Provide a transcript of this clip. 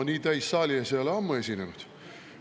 No nii täis saali ees ei ole ma ammu esinenud.